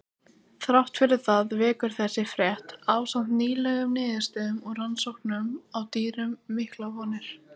Þrátt fyrir það vekur þessi frétt, ásamt nýlegum niðurstöðum úr rannsóknum á dýrum, miklar vonir.